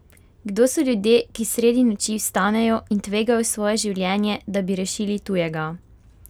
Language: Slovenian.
Kdo so ljudje, ki sredi noči vstanejo in tvegajo svoje življenje, da bi rešili tujega?